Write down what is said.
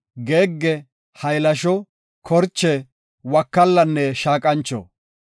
geegge, haylasho, korche, wakallanne shaaqancho.